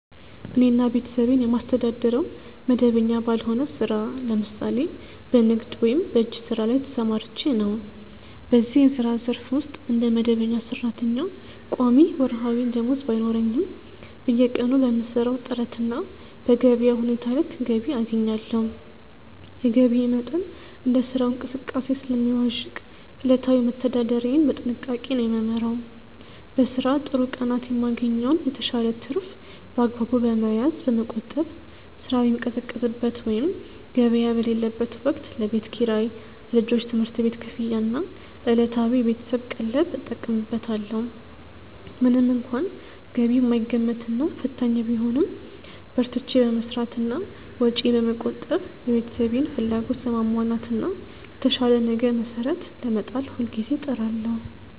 እኔና ቤተሰቤን የማስተዳድረው መደበኛ ባልሆነ ሥራ (ለምሳሌ በንግድ ወይም በእጅ ሥራ) ላይ ተሰማርቼ ነው። በዚህ የሥራ ዘርፍ ውስጥ እንደ መደበኛ ሠራተኛ ቋሚ ወርሃዊ ደመወዝ ባይኖረኝም፣ በየቀኑ በምሠራው ጥረትና በገበያው ሁኔታ ልክ ገቢ አገኛለሁ። የገቢዬ መጠን እንደ ሥራው እንቅስቃሴ ስለሚዋዥቅ፣ ዕለታዊ መተዳደሪያዬን በጥንቃቄ ነው የምመራው። በሥራ ጥሩ ቀናት የማገኘውን የተሻለ ትርፍ በአግባቡ በመያዝ (በመቆጠብ)፣ ሥራ በሚቀዘቅዝበት ወይም ገበያ በሌለበት ወቅት ለቤት ኪራይ፣ ለልጆች ትምህርት ቤት ክፍያና ለዕለታዊ የቤተሰብ ቀለብ እጠቀምበታለሁ። ምንም እንኳን ገቢው የማይገመትና ፈታኝ ቢሆንም፣ በርትቼ በመሥራትና ወጪዬን በመቆጠብ የቤተሰቤን ፍላጎት ለማሟላትና ለተሻለ ነገ መሠረት ለመጣል ሁልጊዜ እጥራለሁ።